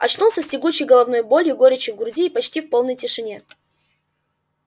очнулся с тягучей головной болью горечью в груди и почти в полной тишине